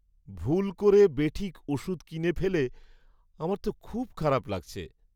ভুল করে বেঠিক ওষুধ কিনে ফেলে আমার তো খুব খারাপ লাগছে।